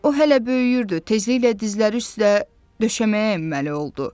O hələ böyüyürdü, tezliklə dizləri üstə döşəməyə əyməli oldu.